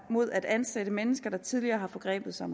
mod at ansætte mennesker der tidligere har forgrebet sig